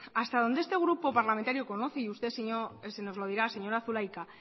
hasta donde este grupo parlamentario conoce y usted nos lo dirá señora zulaika